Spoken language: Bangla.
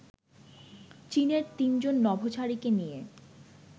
চীনের তিনজন নভোচারীকে নিয়ে